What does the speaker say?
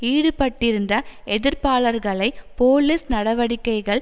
ஈடுபட்டிருந்த எதிர்ப்பாளர்களை போலீஸ் நடவடிக்கைகள்